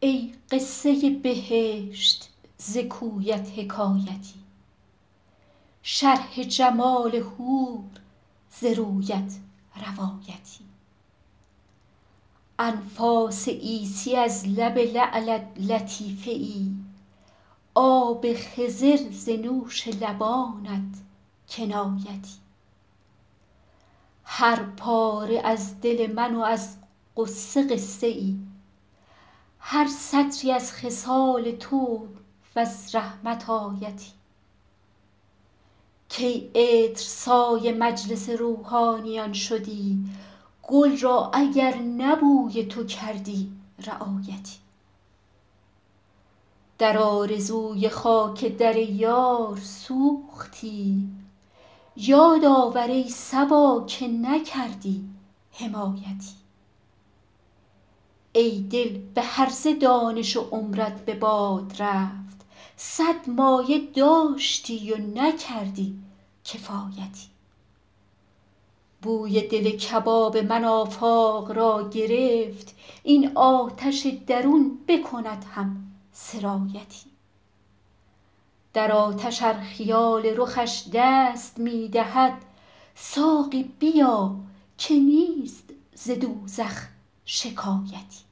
ای قصه بهشت ز کویت حکایتی شرح جمال حور ز رویت روایتی انفاس عیسی از لب لعلت لطیفه ای آب خضر ز نوش لبانت کنایتی هر پاره از دل من و از غصه قصه ای هر سطری از خصال تو و از رحمت آیتی کی عطرسای مجلس روحانیان شدی گل را اگر نه بوی تو کردی رعایتی در آرزوی خاک در یار سوختیم یاد آور ای صبا که نکردی حمایتی ای دل به هرزه دانش و عمرت به باد رفت صد مایه داشتی و نکردی کفایتی بوی دل کباب من آفاق را گرفت این آتش درون بکند هم سرایتی در آتش ار خیال رخش دست می دهد ساقی بیا که نیست ز دوزخ شکایتی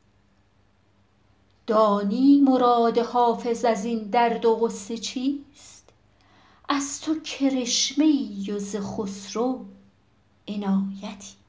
دانی مراد حافظ از این درد و غصه چیست از تو کرشمه ای و ز خسرو عنایتی